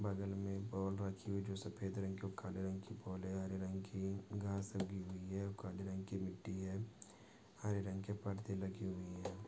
बगल मे बॉल रखी हुई है जो सफ़ेद रंग की और काले रंग की बॉल है हरे रंग कि घास लगी हुई है और काले रंग कि मिट्ठी है हरे रंग कि पड़दे लगी हुई है।